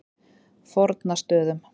Fornastöðum